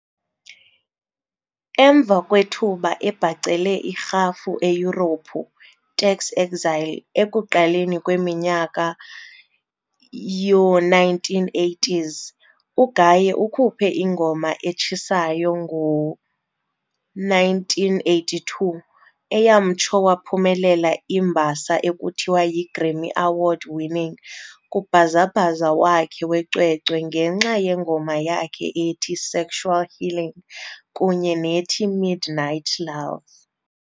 Emva kwethuba ebhacele irhafu eYurophu tax exile ekuqaleni kweminyaka yoo1980s, uGaye ukhuphe ingoma etshisayo ngo1982 eyamtsho waphumelela iimbasa ekuthiwa yiGrammy Award-winning kubhazabhaza wakhe wecwecwe ngenxa yengoma yakhe ethi"Sexual Healing" kunye nethi "Midnight Love".